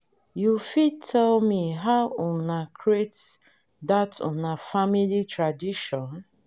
this year we um don start one new family um tradition to dey visit mountains for visit mountains for month ending.